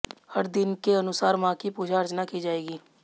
हर दिन के अनुसार मां की पूजा अर्चना की जाएगी